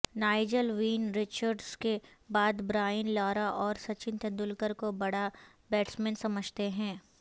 Nigel ووین Richards کے بعد برائن لارا اور سچن تندولکر کو بڑا بیٹسمین سمجھتے ہیں